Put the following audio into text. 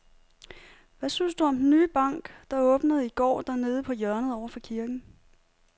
Hvad synes du om den nye bank, der åbnede i går dernede på hjørnet over for kirken?